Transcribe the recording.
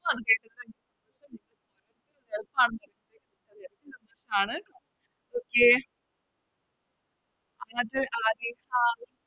ആണ് Okay